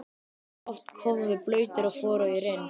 Oft komum við blautir og forugir inn.